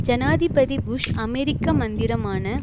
ஜனாதிபதி புஷ் அமெரிக்க மந்திரமான